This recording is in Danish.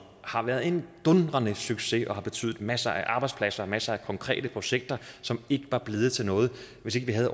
har været en dundrende succes og betydet masser af arbejdspladser og masser af konkrete projekter som ikke var blevet til noget hvis ikke vi havde